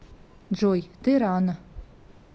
джой ты рано